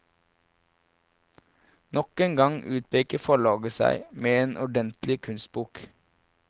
Nok en gang utpeker forlaget seg med en ordentlig kunstbok.